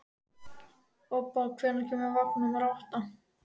Obba, hvenær kemur vagn númer átta?